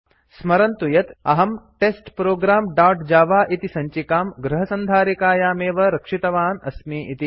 स्मरन्तु यत् अहं टेस्टप्रोग्राम् दोत् जव इति सञ्चिकां गृहसन्धारिकायां एव रक्षित्वान् अस्मि इति